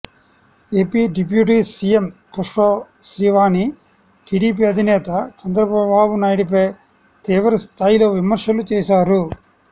AP deputy CM Pushpasreevani TDP అధినేత చంద్రబాబునాయుడిపై తీవ్ర స్థాయిలో విమర్శలు చేశారు